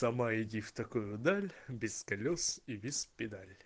сама иди в такую даль без колёс и без педаль